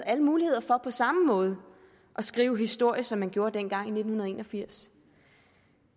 alle muligheder for på samme måde at skrive historie som man gjorde dengang i nitten en og firs